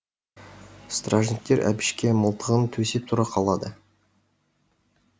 стражниктер әбішке мылтығын төсеп тұра қалады